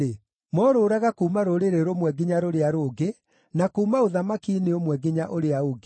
moorũũraga kuuma rũrĩrĩ rũmwe nginya rũrĩa rũngĩ, na kuuma ũthamaki-inĩ ũmwe nginya ũrĩa ũngĩ.